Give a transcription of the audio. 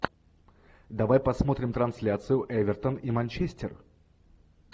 давай посмотрим трансляцию эвертон и манчестер